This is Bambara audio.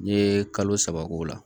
N'i ye kalo saba k'o la